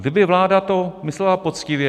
Kdyby vláda to myslela poctivě...